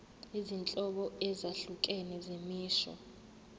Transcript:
izinhlobo ezahlukene zemisho